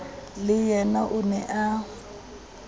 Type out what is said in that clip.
le yena o ne a